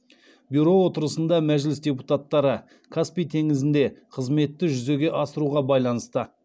бюро отырысында мәжіліс депутаттары каспий теңізінде қызметті жүзеге асыруға байланысты